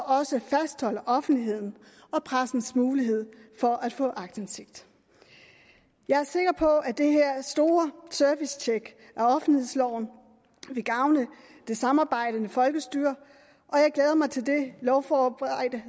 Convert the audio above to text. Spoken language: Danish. også fastholder offentlighedens og pressens mulighed for at få aktindsigt jeg er sikker på at det her store servicetjek af offentlighedsloven vil gavne det samarbejdende folkestyre og jeg glæder mig til det lovforberedende